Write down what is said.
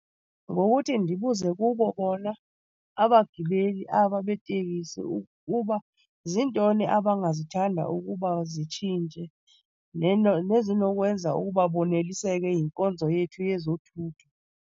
Ngokuthi ndibuze kubo bona abagibeli aba beetekisi uba ziintoni abangazithanda ukuba zitshintshe nezinokwenza ukuba boneliseke yinkonzo yethu yezothutho.